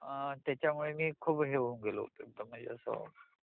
त्याच्यामुळे मी खूप हे होऊन गेलो होतो म्हणजे असा